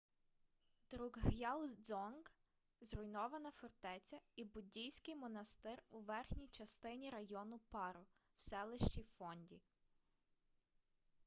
друкг'ял дзонг— зруйнована фортеця і буддійський монастир у верхній частині району паро в селищі фонді